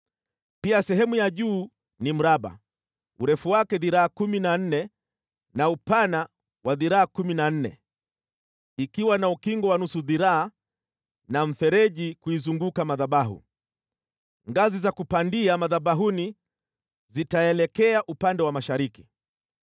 Pia sehemu ya juu ni mraba, urefu wake dhiraa kumi na nne na upana wa dhiraa kumi na nne, ikiwa na ukingo wa nusu dhiraa na mfereji kuizunguka madhabahu. Ngazi za kupandia madhabahuni zitaelekea upande wa mashariki.”